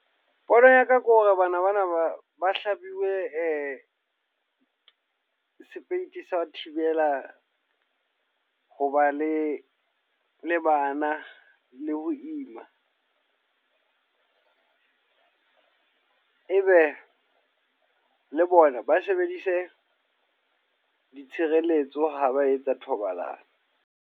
Pono ya ka ke hore bana bana ba ba hlabiwe sepeiti sa ho thibela hoba le le bana, le ho ima. E be le bona ba sebedise ditshireletso ha ba etsa thobalano.